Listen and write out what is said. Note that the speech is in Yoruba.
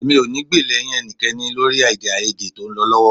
Èmi ò ní gbè lẹ́yìn ẹnikẹ́ni lórí èdèàìyedè tó ń lọ lọ́wọ́